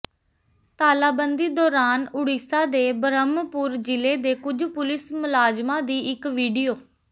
ਤਾਲਾਬੰਦੀ ਦੌਰਾਨ ਉੜੀਸਾ ਦੇ ਬ੍ਰਹਮਪੁਰ ਜ਼ਿਲ੍ਹੇ ਦੇ ਕੁਝ ਪੁਲਿਸ ਮੁਲਾਜ਼ਮਾਂ ਦੀ ਇਕ ਵੀਡੀਓ